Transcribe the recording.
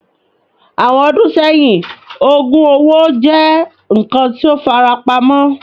Awọn ọdun sẹhin, oogub owo jẹ nkan ti o farapamọ